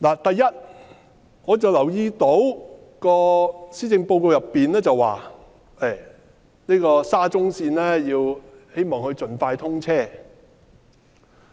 第一，我留意到施政報告說希望沙田至中環線盡快通車。